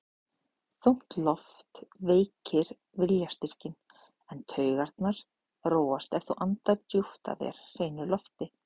Þung loft veikir viljastyrkinn, en taugarnar róast ef þú andar djúpt að þér hreinu lofti.